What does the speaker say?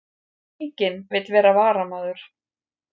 Enginn vill vera varamaður